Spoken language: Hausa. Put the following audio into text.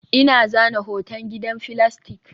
Ina zana hoton gidan filastik